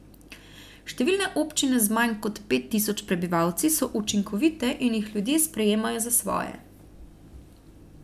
Številne občine z manj kot pet tisoč prebivalci so učinkovite in jih ljudje sprejemajo za svoje.